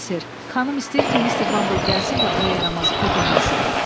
Bəli ser, xanım istəyir ki, Mister Bamble gəlsin və o yaramazı kötəkləsin.